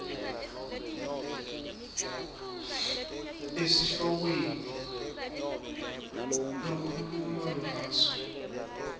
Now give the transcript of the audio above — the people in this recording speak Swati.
esihlokweni lokhuluma ngaso